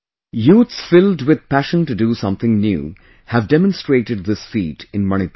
Youths filled with passion to do something new have demonstrated this feat in Manipur